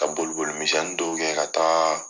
Ka boli boli minsɛnniw dɔw kɛ ka taagaa